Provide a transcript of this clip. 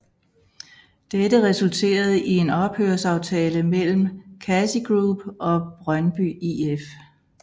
Dette resulterede i en ophørsaftale mellem KasiGroup og Brøndby IF